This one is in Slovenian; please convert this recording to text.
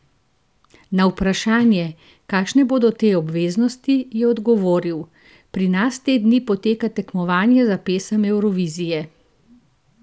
Na vprašanje, kakšne bodo te obveznosti, je odgovoril: "Pri nas te dni poteka tekmovanje za pesem Evrovizije.